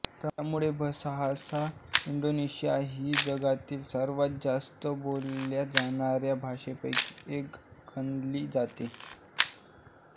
त्यामुळे Bahasa Indonesian ही जगातील सर्वात जास्त बोलल्या जाणाऱ्या भाषांपैकी एक गणली जाते